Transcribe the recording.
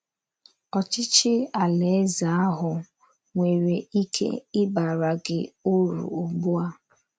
Ọchịchị Alaeze ahụ nwere ike ịbara gị uru ugbu a.